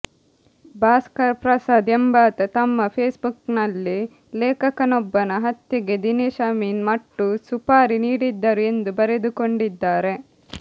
ಭಾಸ್ಕರ್ ಪ್ರಸಾದ್ ಎಂಬಾತ ತಮ್ಮ ಫೇಸ್ಬುಕ್ನಲ್ಲಿ ಲೇಖಕನೊಬ್ಬನ ಹತ್ಯೆಗೆ ದಿನೇಶ್ ಅಮೀನ್ ಮಟ್ಟು ಸುಪಾರಿ ನೀಡಿದ್ದರು ಎಂದು ಬರೆದುಕೊಂಡಿದ್ದಾರೆ